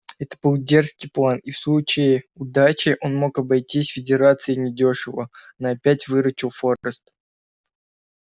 это был дерзкий план и в случае удачи он мог бы обойтись конфедерации недёшево но опять выручил форрест